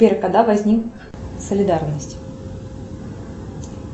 сбер когда возник солидарность